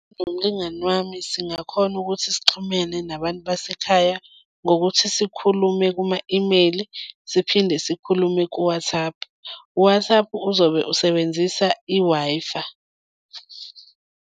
Nomlingani wami singakhona ukuthi sixhumene nabantu basekhaya ngokuthi sikhulume kuma-imeyili, siphinde sikhulume ku-WhatsApp. U-WhatsApp uzobe usebenzisa i-Wi-Fi.